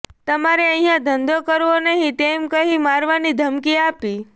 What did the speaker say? તમારે અહીંયા ધંધો કરવો નહીં તેમ કહી મારવાની ધમકી આપી